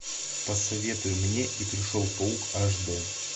посоветуй мне и пришел паук аш д